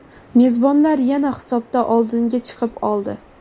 mezbonlar yana hisobda oldinga chiqib oldi.